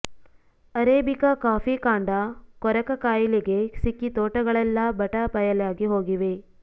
arabica coffee ಕಾಂಡ ಕೊರಕ ಕಾಯಿಲೆಗೆ ಸಿಕ್ಕಿ ತೋಟಗಳೆಲ್ಲಾ ಬಟಾ ಬಯಲಾಗಿ ಹೋಗಿವೆ